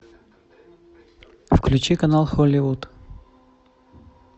включи канал холливуд